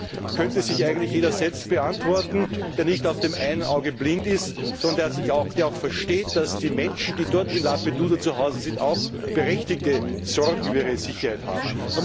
Die Frage könnte sich eigentlich jeder selbst beantworten, der nicht auf dem einen Auge blind ist, sondern der versteht, dass die Menschen, die dort in Lampedusa zu Hause sind, auch berechtigte Sorgen über ihre Sicherheit haben.